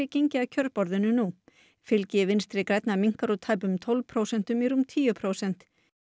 gengið að kjörborðinu nú fylgi Vinstri grænna minnkar úr tæpum tólf prósentum í rúm tíu prósent